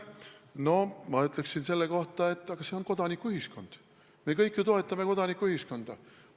No ma ütleksin selle kohta, et aga see on ju kodanikuühiskond, me kõik ju toetame kodanikuühiskonda.